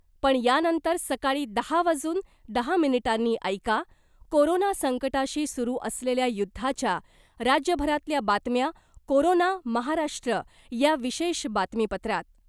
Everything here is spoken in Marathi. पण यानंतर सकाळी दहा वाजून दहा मिनिटांनी ऐका , कोरोना संकटाशी सुरु असलेल्या युद्धाच्या , राज्यभरातल्या बातम्या कोरोना महाराष्ट्र या विशेष बातमीपत्रात .